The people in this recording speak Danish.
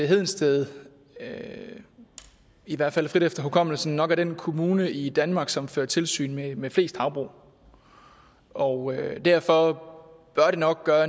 hedensted i hvert fald frit efter hukommelsen nok er den kommune i danmark som fører tilsyn med med flest havbrug og derfor bør det nok gøre